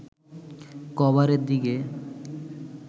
কাভারের দিকে